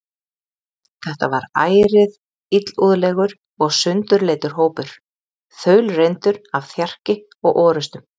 Þetta var ærið illúðlegur og sundurleitur hópur, þaulreyndur af þjarki og orustum.